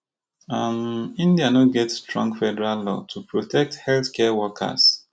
um india no get strong federal law to protect healthcare workers